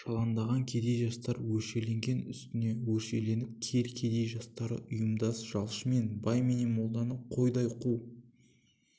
жалаңдаған кедей жастар өршеленген үстіне өршеленіп кел кедей жастары ұйымдас жалшымен бай менен молданы қойдай қу